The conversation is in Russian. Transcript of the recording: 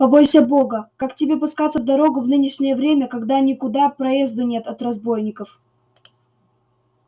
побойся бога как тебе пускаться в дорогу в нынешнее время когда никуда проезду нет от разбойников